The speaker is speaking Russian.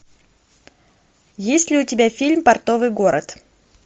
есть ли у тебя фильм портовый город